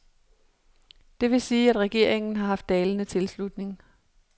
Det vil sige, at regeringen har haft dalende tilslutning.